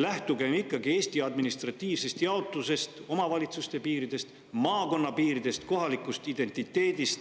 Lähtugem ikkagi Eesti administratiivsest jaotusest, omavalitsuste piiridest, maakonnapiiridest, kohalikust identiteedist,